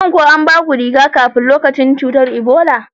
Shin ko anbaku riga-kafi a lokacin cutar Ebola?